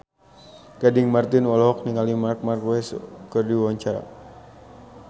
Gading Marten olohok ningali Marc Marquez keur diwawancara